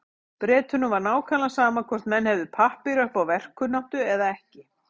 Bretunum var nákvæmlega sama hvort menn hefðu pappíra upp á verkkunnáttuna eða ekki.